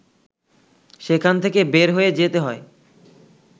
সেখান থেকে বের হয়ে যেতে হয়